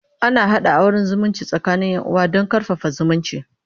ana haɗa auran zumunci tsakanin Yan uwa Dan karfafa zumunci